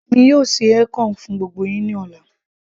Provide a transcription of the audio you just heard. èmi yóò ṣe ekong fún gbogbo yín ní ọ̀la